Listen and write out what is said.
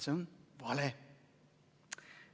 See on vale.